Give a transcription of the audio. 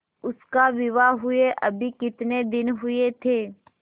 उसका विवाह हुए अभी कितने दिन हुए थे